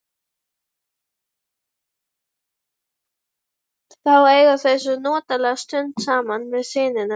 Þá eiga þau svo notalega stund saman með syninum.